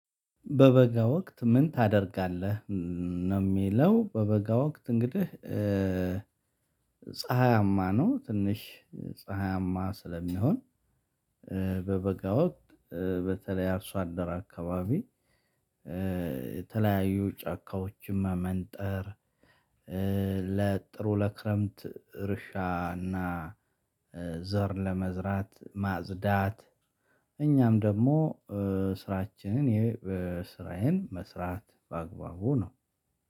በበጋ ወቅት ምን ታደርጋለህ? ነው የሚለው በበጋ ወቅት እንግዲህ ፀሀያማ ነው ትንሽ ፀሀያማ ስለሚሆን በበጋ ወቅት በተለይ አርሶ አደር አካባቢ የተለያዩ ጫካዎችን መመንጠር ለጥሩ ለክረምት እርሻና ዘር ለመዝራት ማጽዳት እኛም ደግሞ ስራችንን ይሄ ስራዬን መስራት በአግባቡ ነው